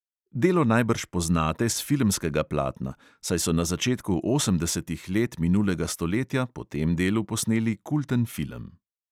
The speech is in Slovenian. Delo najbrž poznate s filmskega platna, saj so na začetku osemdesetih let minulega stoletja po tem delu posneli kulten film.